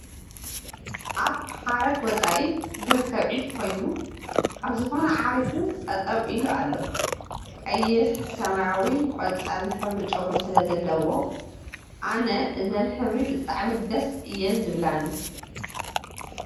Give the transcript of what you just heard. ኣብ ሓገረ ወፃኢ እርከብ ዒፍ ኮይኑ ኣብ ዝኾነ ዓሪፉ ጠጠው ኢሉ ኣሎ፡ ቕይሕ ፣ ሰማያዊን ቖፃልን ሕብሪ ጨጉሪ ስለዘለዎ ኣነ እዘን ሕብሪ ብጣዕሚ ደስ እየን ዝብላኒ ።